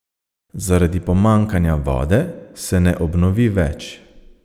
Zaradi pomanjkanja vode se ne obnovi več.